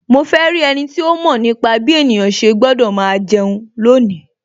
Mo fe rí ẹniti ó mọ̀ nípa bí ènìyàn ṣe gbọ́dọ̀ máa jẹun lónìí